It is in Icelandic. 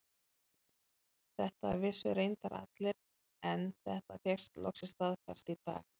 Þetta vissu reyndar allir en þetta fékkst loksins staðfest í dag.